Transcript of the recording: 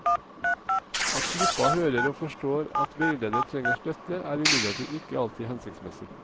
At gruppa hører og forstår at veileder trenger støtte, er imidlertid ikke alltid hensiktsmessig.